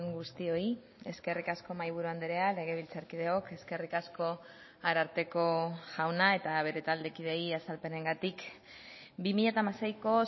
guztioi eskerrik asko mahaiburu andrea legebiltzarkideok eskerrik asko ararteko jauna eta bere taldekideei azalpenengatik bi mila hamaseiko